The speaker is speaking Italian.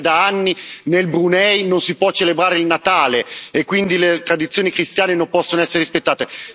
Lei sa che da anni nel Brunei non si può celebrare il Natale, e quindi le tradizioni cristiane non possono essere rispettate.